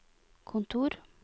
kontor